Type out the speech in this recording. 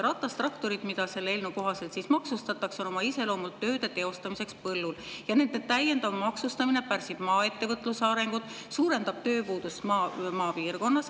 Ratastraktorid, mis selle eelnõu kohaselt ka maksustatakse, on oma iseloomult ette nähtud tööde teostamiseks põllul ja nende täiendav maksustamine pärsib maaettevõtluse arengut, suurendab tööpuudust maal.